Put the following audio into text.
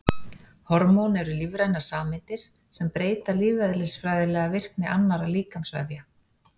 Hormón eru lífrænar sameindir sem breyta lífeðlisfræðilega virkni annarra líkamsvefja.